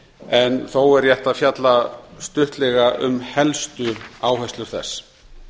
en þó er rétt að fjalla stuttlega um helstu áherslur þess